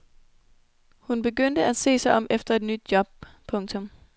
Hun begyndte at se sig om efter et nyt job. punktum